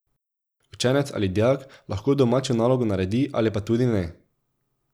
Učenec ali dijak lahko domačo nalogo naredi ali pa tudi ne.